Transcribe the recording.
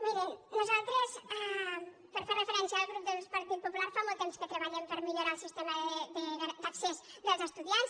mirin nosaltres per fer referència al grup del par·tit popular fa molt temps que treballem per millorar el sistema d’accés dels estudiants